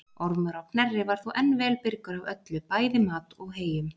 Ormur á Knerri var þó enn vel byrgur af öllu, bæði mat og heyjum.